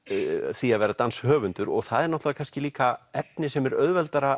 því að vera danshöfundur og það er náttúrulega kannski líka efni sem er auðveldara